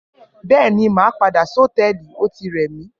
Bẹẹni, mà pàdá sòtẹlí, òtí rẹ mí